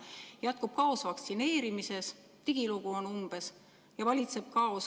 Jätkub kaos vaktsineerimises, digilugu on umbes ja valitseb kaos.